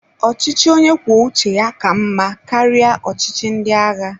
Ọchịchị onye kwuo uche ya ka mmá karịa ọchịchị ndị agha.